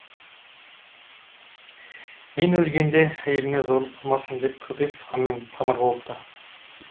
мен өлгенде әйеліме зорлық қылмасын деп көпес ханмен тамыр болыпты